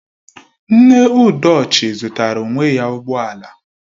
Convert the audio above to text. Nne Udochi zụtara onwe ya ụgbọ ala